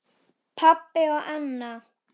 Pabbi og Anna.